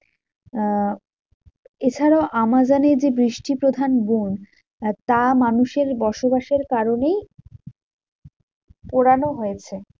আহ এছাড়াও আমাজোনে যে বৃষ্টি প্রধান বন, তা মানুষের বসবাসের কারণেই পোড়ানো হয়েছে।